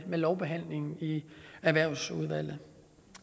ved lovbehandlingen i erhvervsudvalget